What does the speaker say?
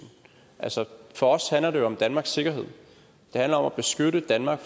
for os handler det jo om danmarks sikkerhed det handler om at beskytte danmark